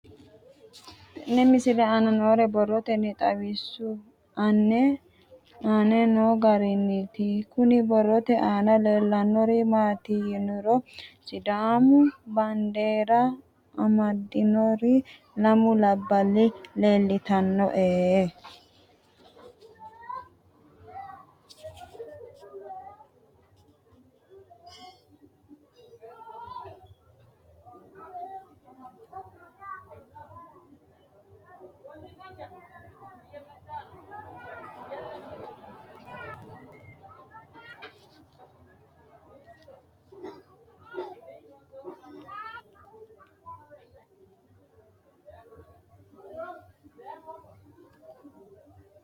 Tenne misile aana noore borroteni xawiseemohu aane noo gariniiti. Kunni borrote aana leelanori maati yiniro Sidaamu baandeera amadinori lamu labballi leeltanoe.